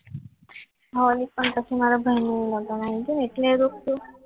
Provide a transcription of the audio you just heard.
ખાલી પણ મારા ભાઈનું લગન આવી ગયું ને